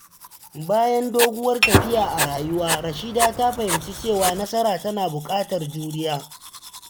Bayan doguwar tafiya a rayuwa, Rashida ta fahimci cewa nasara tana buƙatar juriya.